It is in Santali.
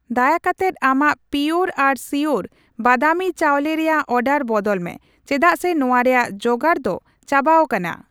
ᱫᱟᱭᱟ ᱠᱟᱛᱮᱫ ᱟᱢᱟᱜ ᱯᱤᱭᱳᱨ ᱟᱨ ᱥᱤᱭᱳᱨ ᱵᱟᱫᱟᱢᱤ ᱪᱟᱣᱞᱮ ᱨᱮᱭᱟᱜ ᱚᱨᱰᱟᱨ ᱵᱚᱫᱚᱞ ᱢᱮ ᱪᱮᱫᱟᱜ ᱥᱮ ᱱᱚᱣᱟ ᱨᱮᱭᱟᱜ ᱡᱚᱜᱟᱲ ᱫᱚ ᱪᱟᱵᱟᱣᱟᱠᱟᱱᱟ ᱾